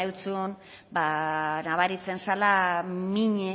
eutzun ba nabaritzen zala